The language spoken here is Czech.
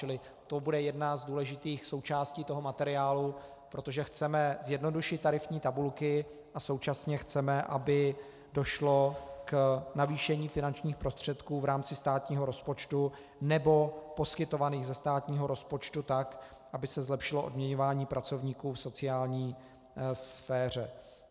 Čili to bude jedna z důležitých součástí toho materiálu, protože chceme zjednodušit tarifní tabulky a současně chceme, aby došlo k navýšení finančních prostředků v rámci státního rozpočtu, nebo poskytovaných ze státního rozpočtu, tak, aby se zlepšilo odměňování pracovníků v sociální sféře.